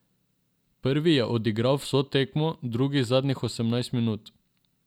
Prvi je odigral vso tekmo, drugi zadnjih osemnajst minut.